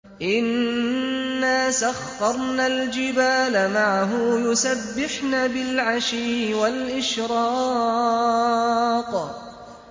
إِنَّا سَخَّرْنَا الْجِبَالَ مَعَهُ يُسَبِّحْنَ بِالْعَشِيِّ وَالْإِشْرَاقِ